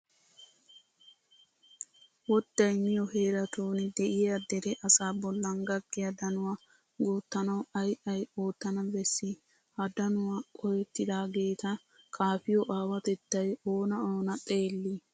Wodday miyo heeratun de'iya dere asaa bollan gakkiya danuwa guuttanawu ay ay oottana bessii? Ha danuwan qohettidaageeta kaafiyo aawatettay oona oona xeellii?